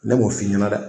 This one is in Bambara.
Ne b'o f'i ɲɛna dɛ